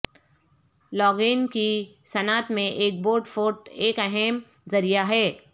log in کی صنعت میں ایک بورڈ فوٹ ایک اہم ذریعہ ہے